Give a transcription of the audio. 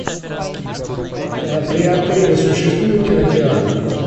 при отеле существует кинотеатр